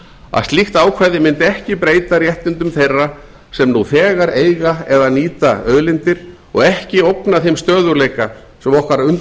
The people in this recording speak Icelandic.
að slíkt ákvæði mundi ekki breyta réttindum þeirra sem nú þegar eiga eða nýta auðlindir og ekki ógna þeim stöðugleika sem okkar